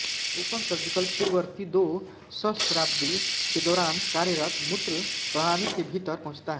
open surgical पूर्ववर्ती दो सहस्राब्दी के दौरान कार्यरत मूत्र प्रणाली के भीतर पहुंचता है